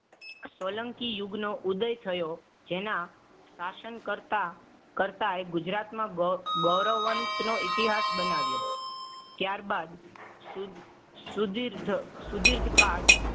સોલંકી યુગનો ઉદય થયો. જેના શાસન કરતા કરતા ગુજરાતમાં ગૌરવ ગૌરવવંત નો ઇતિહાસ બનાવ્યો. ત્યારબાદ સુધ સુધીર સુધિર્ત કાળ